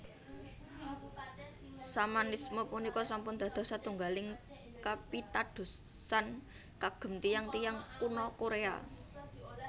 Shamanisme punika sampun dados satunggaling kapitadosan kagem tiyang tiyang Kuno Korea